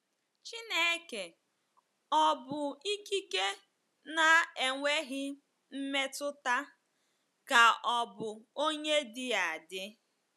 Chineke ọ̀ bụ ikike na-enweghị mmetụta ka ọ̀ bụ onye dị adị?